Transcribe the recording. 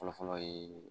Fɔlɔ fɔlɔ ye